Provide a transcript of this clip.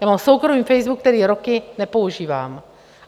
Já mám soukromý Facebook, který roky nepoužívám.